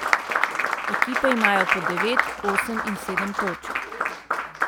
Ekipe imajo po devet, osem in sedem točk.